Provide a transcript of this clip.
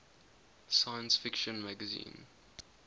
science fiction magazine